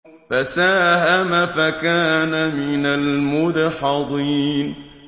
فَسَاهَمَ فَكَانَ مِنَ الْمُدْحَضِينَ